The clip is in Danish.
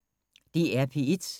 DR P1